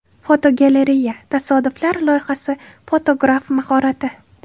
Fotogalereya: Tasodiflar loyihasi fotograf mahorati.